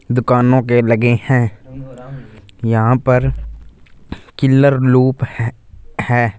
दुकानों के लगे हैं यहां पर किल्लर लूप है है।